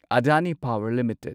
Adani power limited